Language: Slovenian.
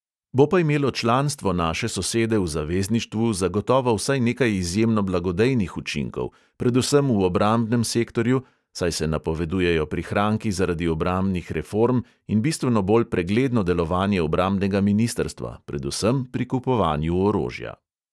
Bo pa imelo članstvo naše sosede v zavezništvu zagotovo vsaj nekaj izjemno blagodejnih učinkov, predvsem v obrambnem sektorju, saj se napovedujejo prihranki zaradi obrambnih reform in bistveno bolj pregledno delovanje obrambnega ministrstva, predvsem pri kupovanju orožja.